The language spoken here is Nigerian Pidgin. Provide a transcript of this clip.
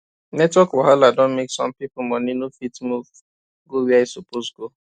network wahala don make some people money no fit move go where e suppose go